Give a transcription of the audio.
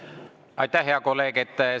Aitäh, hea kolleeg!